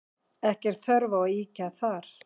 Ekki er þörf á að ýkja þar.